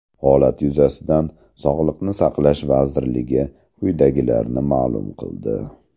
Holat yuzasidan Sog‘liqni saqlash vazirligi quyidagilarni ma’lum qildi .